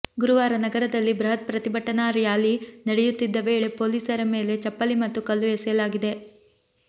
ಗುರುವಾರ ನಗರದಲ್ಲಿ ಬೃಹತ್ ಪ್ರತಿಭಟನಾ ರ್ಯಾಲಿ ನಡೆಯುತ್ತಿದ್ದ ವೇಳೆ ಪೊಲೀಸರ ಮೇಲೆ ಚಪ್ಪಲಿ ಮತ್ತು ಕಲ್ಲು ಎಸೆಯಲಾಗಿದೆ